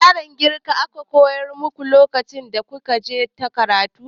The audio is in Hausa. Da yaren girka aka koya muku lokacin da kuka je karatu?